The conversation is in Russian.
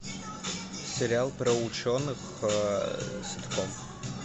сериал про ученых ситком